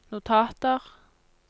notater